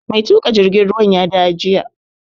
Mai tuƙa jirgin ruwan ya dawo jiya